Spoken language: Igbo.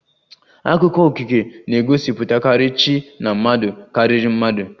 Akụkọ okike na-egosipụtakarị chi na mmadụ karịrị mmadụ